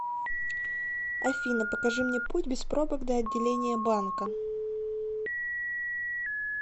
афина покажи мне путь без пробок до отделения банка